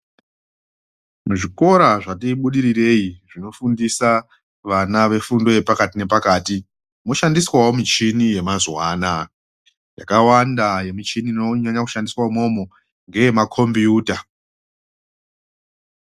Muzvikora zvati budirirei munofundiswa vana vefundo yepakati moshandiswawo michini yemazuwa anaya, yakawanda yemichini inoshandiswa imwomwo ngeyemakombiyuta.